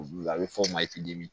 Olu a bɛ f'o ma